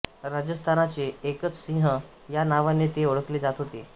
राजस्थानाचे एकच सिंह या नावाने ते ओळखले जात होते